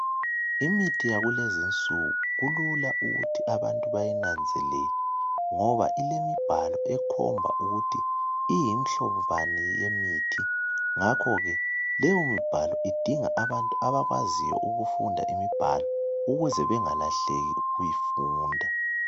Imithi yakulezinsuku kulula ukuthi abantu bayinanzelele ngoba kulemibhalo ekhomba ukuthi imihlobo bani yemithi. Ngakho-ke leyomibhalo idinga abantu abakwaziyo ukufunda imibhalo ukuze bengalahleki ukuyifunda.